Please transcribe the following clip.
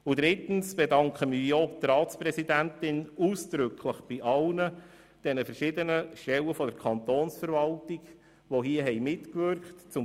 Drittens verdanke ich ausdrücklich die Mitwirkung der Ratspräsidentin und aller Stellen der Kantonsverwaltung, die mitgewirkt haben.